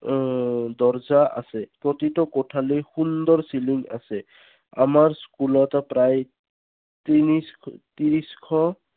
উম দৰজা আছে। প্ৰতিত কোঠালি সুন্দৰ ceiling আছে। আমাৰ school ত প্ৰায় তিনিচ ত্ৰিছশ